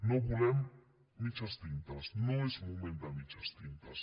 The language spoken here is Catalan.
no volem mitges tintes no és moment de mitges tintes